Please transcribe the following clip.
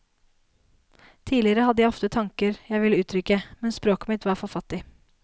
Tidligere hadde jeg ofte tanker jeg ville uttrykke, men språket mitt var for fattig.